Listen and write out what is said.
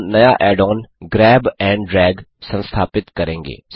अब हम नया add on grab and drag संस्थापित करेंगे